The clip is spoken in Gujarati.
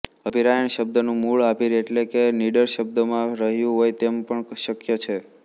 અભિરાયણ શબ્દનું મૂળ આભીર એટલે કે નિડર શબ્દમાં રહ્યું હોય તેમ પણ શક્ય છે